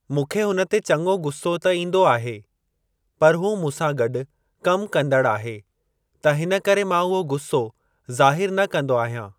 मूंखे हुन ते चङो गुसो त ईंदो आहे पर हू मूंसां गॾु कमु कंदड़ु आहे त हिन करे मां उहो गुसो ज़ाहिरु न कंदो आहियां।